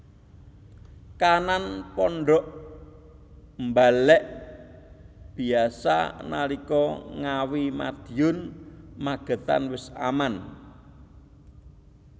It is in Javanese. Kahanan pondhok mbalek biasa nalika Ngawi Madiun Magetan wis aman